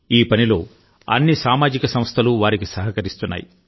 ఈ పనిలో అన్ని సామాజిక సంస్థలు వారికి సహకరిస్తున్నాయి